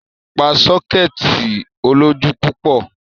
Pa sọ́kẹ́ẹ̀tì olójú púpọ̀.